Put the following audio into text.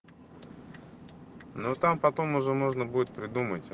ну там потом уже можно будет придумать